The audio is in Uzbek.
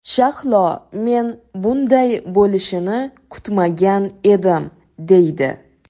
Shahlo ‘men bunday bo‘lishini kutmagan edim’, deydi.